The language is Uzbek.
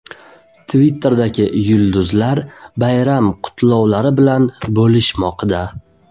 Twitterdagi yulduzlar bayram qutlovlari bilan bo‘lishmoqda .